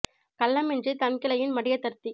கள்ளமின்றித் தன்கிளையின் மடிய தர்த்திக்